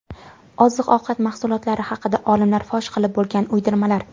Oziq-ovqat mahsulotlari haqida olimlar fosh qilib bo‘lgan uydirmalar.